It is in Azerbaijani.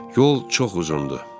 Yol çox uzundur.